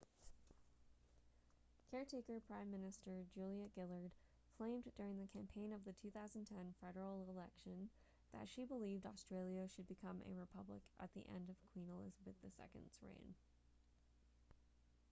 caretaker prime minister julia gillard claimed during the campaign of the 2010 federal election that she believed australia should become a republic at the end of queen elizabeth ii's reign